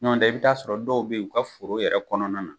Ɲɔn dɛɛ i b' i t'a sɔrɔ dɔw be ye u ka foro yɛrɛ kɔnɔna na